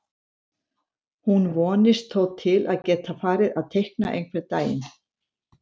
Hún vonist þó til að geta farið að teikna einhvern daginn.